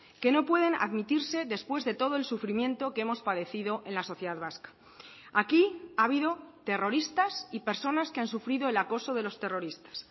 que no pueden admitirse después de todo el sufrimiento que hemos padecido en la sociedad vasca aquí ha habido terroristas y personas que han sufrido el acoso de los terroristas